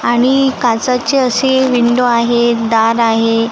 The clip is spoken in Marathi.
आणि काचची अशी विंडो आहे दार आहे.